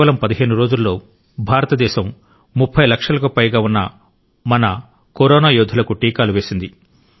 కేవలం 15 రోజుల్లో భారతదేశం 30 లక్షలకు పైగా ఉన్న మన కరోనా యోధులకు టీకాలు వేసింది